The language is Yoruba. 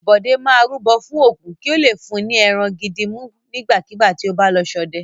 Bọ̀dé máa rúbọ fún Ògún kí ó le fún ní ẹran gidi mú nígbàkigbà tí ó bá lọ ṣọdẹ.